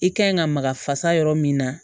I kan ɲi ka maka fasa yɔrɔ min na